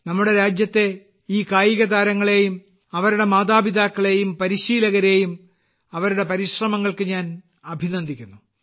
നമ്മുടെ രാജ്യത്തെ ഈ കായികതാരങ്ങളെയും അവരുടെ മാതാപിതാക്കളെയും പരിശീലകരെയും അവരുടെ പരിശ്രമങ്ങളെയും ഞാൻ അഭിനന്ദിക്കുന്നു